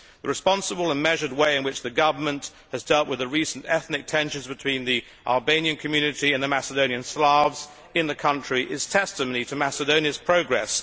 The responsible and measured way in which the government has dealt with the recent ethnic tensions between the Albanian community and the Macedonian Slavs in the country is testimony to Macedonia's progress.